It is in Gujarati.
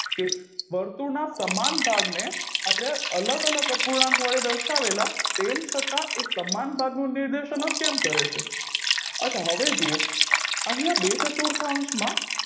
એ વર્તુળ ના સમાન ભાગને આપણે અલગ અલગ અપૂર્ણાંક વડે દર્શાવેલા તેમ છતાં એ સમાન ભાગનું નિર્દેશન જ કેમ કરે છે અછાં હવે જુવો અહિયાં બે ચતુર્થયાન્સમાં